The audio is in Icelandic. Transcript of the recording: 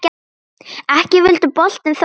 Ekki vildi boltinn þó inn.